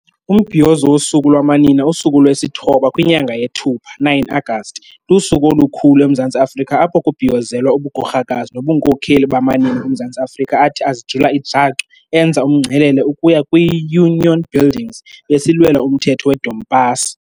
Umbhiyozo Wosuku Lwamanina usuku lwesithoba kwinyanga yeThupha, 09 August, lusuku olukhulu eMzantsi Africa apho kubhiyozelwa ubugorhakazi nobunkokheli bamanina oMzantsi Afrika athi azijula ijacu enza umngcelele ukuya kwi Union Buildings besilwela umthetho we Dompasi.